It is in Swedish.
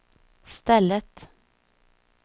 stället